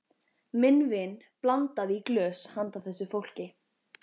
Minn vin blandaði í glös handa þessu fólki.